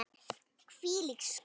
Hvílík skömm!